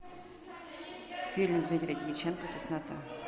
фильм дмитрия дьяченко теснота